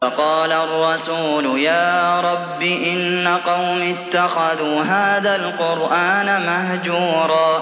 وَقَالَ الرَّسُولُ يَا رَبِّ إِنَّ قَوْمِي اتَّخَذُوا هَٰذَا الْقُرْآنَ مَهْجُورًا